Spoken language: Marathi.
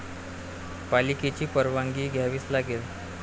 पालिकेची परवानगी घ्यावीच लागेल